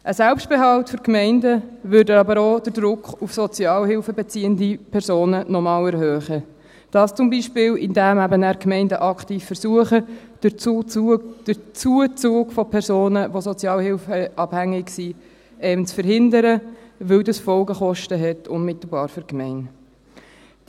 Ein Selbstbehalt für die Gemeinden würde aber auch noch einmal den Druck auf sozialhilfebeziehende Personen erhöhen, zum Beispiel indem Gemeinden dann aktiv versuchen, den Zuzug von Personen, die sozialhilfeabhängig sind, zu verhindern, weil das für die Gemeinde unmittelbar Folgekosten hat.